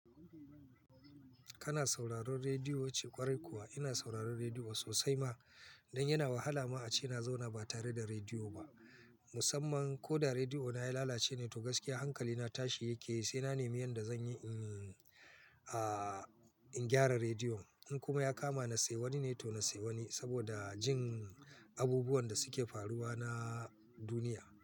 Kana sauraron rediyo, yace kwarai kuwa ina sauraron rediyo sosai ma. Dan yana wahala ma a ce na zauna ba tare da rediyo ba. Musamman ko da rediyo na ya lalace ne to gaskiya hankali na tashi yake sai na nemi yanda zan yi, in, ah, in gyara radiyon. In kuma ya kama na sayi wani ne to na sayi wani saboda jin abubuwan da suke faruwa na duniya.